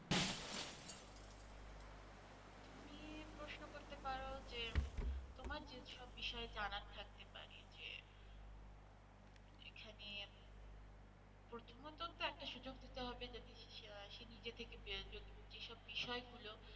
তুমি প্রশ্ন করতে পারো যে তোমার যে সব বিষয়ে জানার থাকতে পারে যে উম এখানে প্রথমত তো একটা সুযোগ দিতে হবে যদি সে নিজে থেকে যদি যেসব বিষয় গুলো,